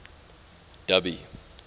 dubby